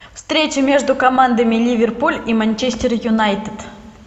встреча между командами ливерпуль и манчестер юнайтед